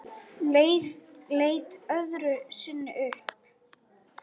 Leit öðru sinni upp.